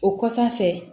O kɔsan fɛ